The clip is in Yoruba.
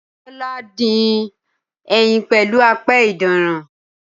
Tọ́lá dín ẹyin pẹ̀lú apẹ ìdínran